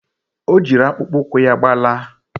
Ọ jịrị akpụkpọ ụkwụ ya gbalaa